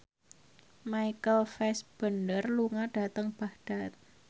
Michael Fassbender lunga dhateng Baghdad